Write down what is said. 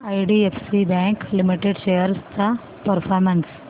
IDFC bank limited shares चा performance